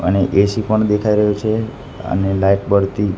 અને એ_સી પણ દેખાય રહ્યું છે અને લાઈટ બળતી--